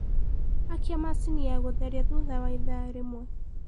akĩa machĩnĩ ya gutherĩa thũtha waĩthaa rĩmwe